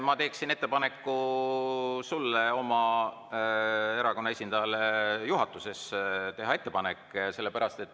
Ma teeksin ettepaneku sulle teha oma erakonna esindajale juhatuses ettepanek.